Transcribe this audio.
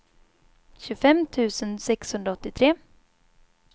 tjugofem tusen sexhundraåttiotre